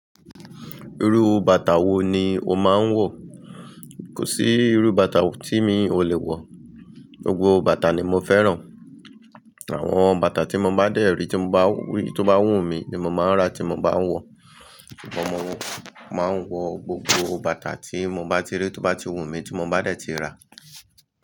Irú bàtà wo ni o máa ń wọ̀? Kò sí irú bàtà tí mi ò lè wọ̀, gbogbo bàtà ni mo fẹ́ràn. Àwọn bàtà tí mo bá dẹ̀ rí tí mo bá rí tí ó bá wù mí ni mo máa ń rà tí mo bá ń wọ. Mo máa ń wọ gbogbo bàtà tí mo bá ti rí tí ó bá ti wù mí tí mo bá dẹ̀ ti rà.